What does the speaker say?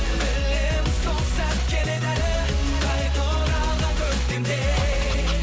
білемін сол сәт келеді әлі қайта оралған көктемдей